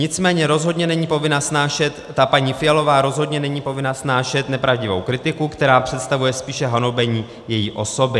Nicméně rozhodně není povinna snášet - ta paní Fialová rozhodně není povinna snášet nepravdivou kritiku, která představuje spíše hanobení její osoby.